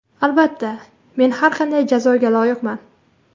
Albatta, men har qanday jazoga loyiqman.